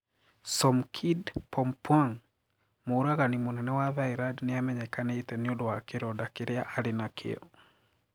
Somkid Pumpuang: Mũũragani mũnene wa Thailand niamenyekanite niundũ wa kiroda kiria ari nakio.